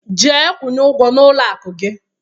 Jee kwunye ụgwọ n'ụlọ akụ!